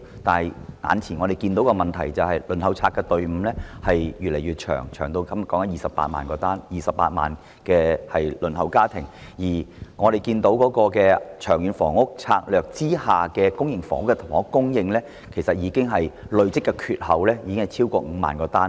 但我們看到眼前的問題是公屋輪候冊的隊伍越來越長，現時共有28萬戶輪候家庭，而《長遠房屋策略》下公營房屋供應的累積短缺已超過5萬個單位。